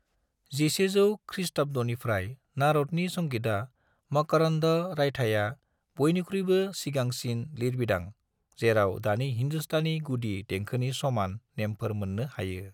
1100 ख्रीष्टाब्दनिफ्राय नारदनि संगीता मकरन्द रायथाया, बायनिख्रुयबो सिगांसिन लिरबिदां जेराव दानि हिन्दुस्तानी गुदि देंखोनि समान नेमफोर मोन्नो हायो।